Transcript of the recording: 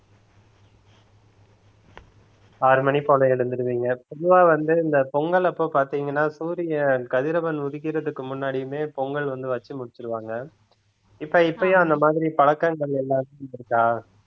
ஆறு மணி போல எழுந்திருவீங்க பொதுவா வந்து இந்த பொங்கல் அப்போ பார்த்தீங்கன்னா சூரியன் கதிரவன் உதிக்கிறதுக்கு முன்னாடியுமே பொங்கல் வந்து வச்சு முடிச்சிருவாங்க இப்ப இப்பயும் அந்த மாதிரி பழக்கங்கள் எல்லாருக்கும் இருக்கா